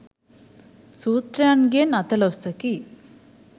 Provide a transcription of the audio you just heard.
සූත්‍රයන්ගෙන් අතලොස්සකි.